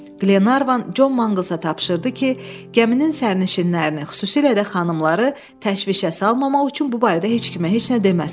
Qlenarvan Con Manqalsa tapşırdı ki, gəminin səyyahlarını, xüsusilə də xanımları təşvişə salmamaq üçün bu barədə heç kimə heç nə deməsin.